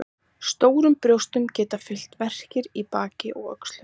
Stórum brjóstum geta fylgt verkir í baki og öxlum.